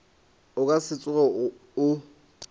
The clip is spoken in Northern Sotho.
o ka se tsoge o